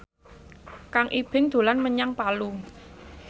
Kang Ibing dolan menyang Palu